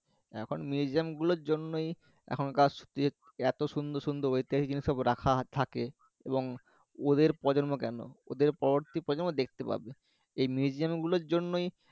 এখন museum গুলোর জন্যই এখনকার এতো সুন্দর সুন্দর ওখানকার জিনিস সব রাখা থাকে এবং ওদের প্রজন্ম কেন ওদের পরবর্তী প্রজন্ম দেখতে পাবে। এই museum গুলোর জন্যই